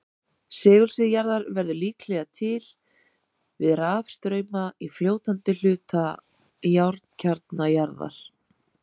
Segulsvið jarðar verður líklega til við rafstrauma í fljótandi hluta járnkjarna jarðar.